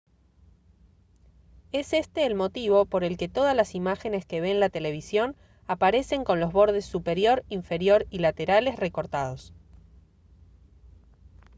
es este el motivo por el que todas las imágenes que ve en la televisión aparecen con los bordes superior inferior y laterales cortados